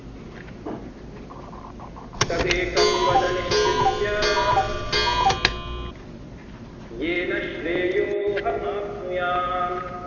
तदेकं वद निश्चित्य येन श्रेयो हमाप्रुयाम